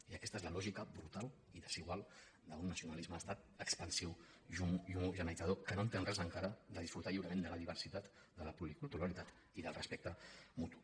i aquesta és la lògica brutal i desigual d’un nacionalisme d’estat expansiu i homogeneïtzador que no entén res encara de disfrutar lliurement de la diversitat de la policulturalitat i del respecte mutu